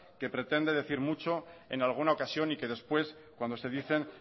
que pretende decir mucho en alguna ocasión y que después cuando se dicen